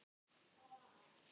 Hvar er Bogga?